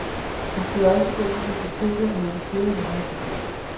Han kunne jo også gå på biblioteket og låne flere hundrede bøger.